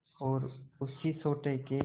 और उसी सोटे के